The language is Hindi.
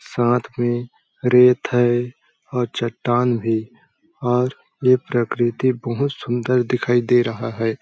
सात के में रेत है और चट्टान भी और ये प्रकृति बहोत सुन्दर दिखाई दे रहा हैं ।